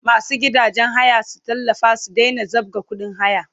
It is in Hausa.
Masu gidajen haya su tallafa su daina zabga kudin haya!